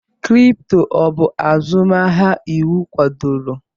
Kripto, ọ bụ azụmahịa iwu kwadoro?